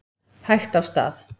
Hægt af stað